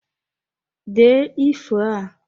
Dee ifo a!